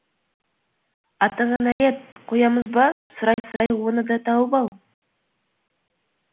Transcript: атаңа нәлет қоямыз ба сұрай сұрай оны да тауып ал